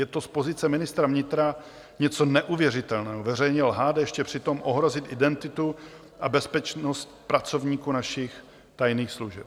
Je to z pozice ministra vnitra něco neuvěřitelného, veřejně lhát, a ještě přitom ohrozit identitu a bezpečnost pracovníků našich tajných služeb.